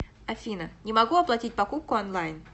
афина не могу оплатить покупку онлайн